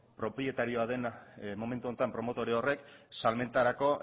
propietarioa dena momentu horretan promotore horrek salmentarako